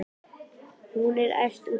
Hún er æf út í þig.